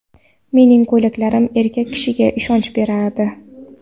Mening ko‘ylaklarim erkak kishiga ishonch beradi.